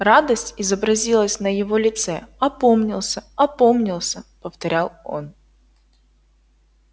радость изобразилась на его лице опомнился опомнился повторял он